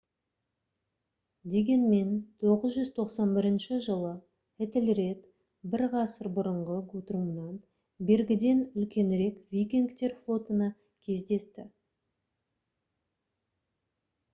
дегенмен 991 жылы этельред бір ғасыр бұрынғы гутрумнан бергіден үлкенірек викингтер флотына кездесті